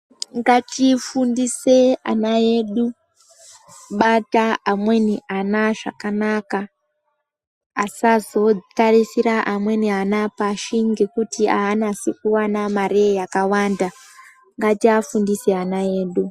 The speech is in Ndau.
Ngatifundise ana edu kubata amweni ana zvakanaka asazotarisira amweni ana pashi ngekuti aanasi kuwana mare yakawanda ngatiafundise ana edu.